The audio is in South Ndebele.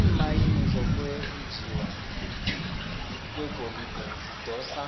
iimayini zokwenjiwa kwegolide zidosa